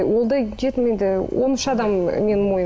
ол да жетім енді он үш адам менің